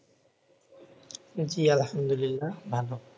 জ্বি আলহামদুলিল্লাহ ভালো